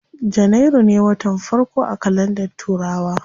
Janairu ne watan farko a kalandar turawa.